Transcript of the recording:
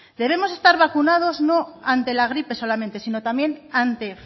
debemos estar vacunados no ante la gripe solamente sino también ante